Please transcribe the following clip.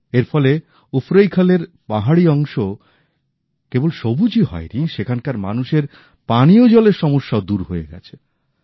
এর ফলে উফরৈখলের পাহাড়ি অংশ কেবল সবুজই হয় নি সেখানকার মানুষের পানীয় জলের সমস্যাও দূর হয়ে গেছে